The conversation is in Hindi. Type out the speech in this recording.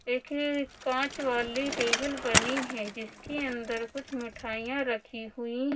एक ही कांच वाली टेबल बनी है जिसके अंदर कुछ मिठाइयां रखी हुई--